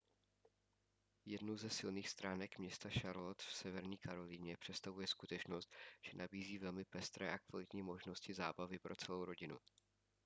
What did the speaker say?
jednu ze silných stránek města charlotte v severní karolíně představuje skutečnost že nabízí velmi pestré a kvalitní možnosti zábavy pro celou rodinu